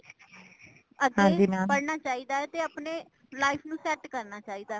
ਅੱਗੇ ਪੜ੍ਹਨਾ ਚਾਹੀਦਾ ਤੇ ਆਪਣੇ life ਨੂੰ set ਕਰਨਾ ਚਾਹੀਦਾ